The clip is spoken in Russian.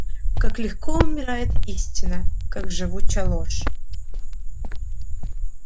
как легко умирает истина как живуча ложь